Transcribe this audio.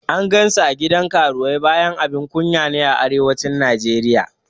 An gan sa a gidan karuwai bayan abun kunya ne a Arewacin Najeriya